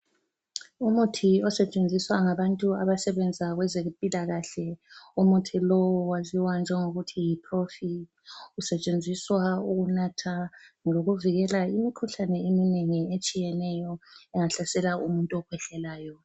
Umuthi osetshenziswa ngabantu abasebenza kwezempilakahle, umuthi lowu waziwa njengokuthi yi -Profi, usetshenziswa ukunatha lokuvikela imikhuhlane eminengi etshiyeneyo engahlasela umuntu okhwehlelayo.